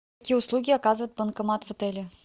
какие услуги оказывает банкомат в отеле